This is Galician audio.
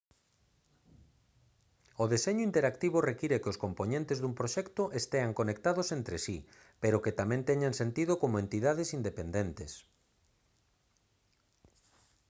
o deseño interactivo require que os compoñentes dun proxecto estean conectados entre si pero que tamén teñan sentido como entidades independentes